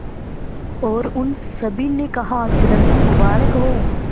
और उन सभी ने कहा जन्मदिन मुबारक हो